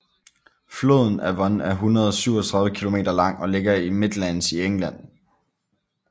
Floden Avon er 137 km lang og ligger i Midlands i England